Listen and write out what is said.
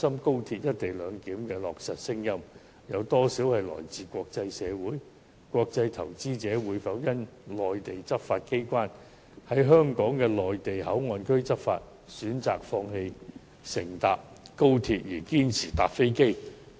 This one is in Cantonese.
國際投資者無論如何都會投向中國大陸，會否因為內地執法機關在香港的內地口岸區內執法，就選擇放棄乘坐高鐵，堅持乘坐飛機？